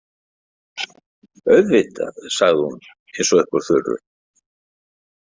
Auðvitað, sagði hún, eins og upp úr þurru.